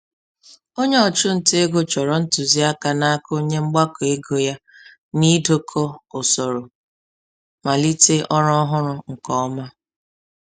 Onye ọchụ nta ego chọrọ ntụziaka n'aka onye mgbakọ ego ya n'idokọ usoro malite ọrụ ọhụrụ nke ọma.